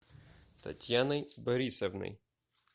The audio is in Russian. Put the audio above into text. татьяной борисовной